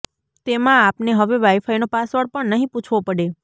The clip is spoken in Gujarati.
તેમાં આપને હવે વાઇફાઇનો પાસવર્ડ પણ નહીં પૂછવો પડે